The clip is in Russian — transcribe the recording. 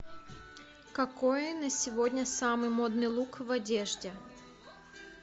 какой на сегодня самый модный лук в одежде